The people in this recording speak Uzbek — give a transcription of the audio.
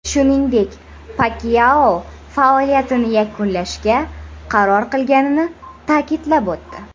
Shuningdek, Pakyao faoliyatini yakunlashga qaror qilganini ta’kidlab o‘tdi.